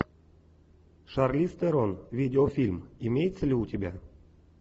шарлиз терон видеофильм имеется ли у тебя